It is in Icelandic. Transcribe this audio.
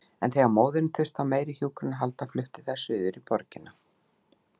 En þegar móðirin þurfti á meiri hjúkrun að halda fluttu þær suður í borgina.